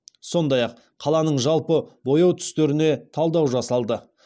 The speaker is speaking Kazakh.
сондай ақ қаланың жалпы бояу түстеріне талдау жасалды